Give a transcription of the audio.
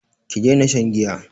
Ki daina shan giya!